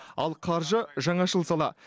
ал қаржы жаңашыл сала